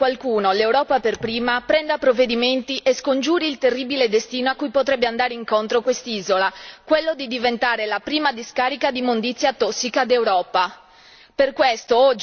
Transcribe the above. È arrivato il momento che qualcuno, l'Europa per prima, prenda provvedimenti e scongiuri il terribile destino a cui potrebbe andare incontro quest'isola quello di diventare la prima discarica di immondizia tossica d'Europa.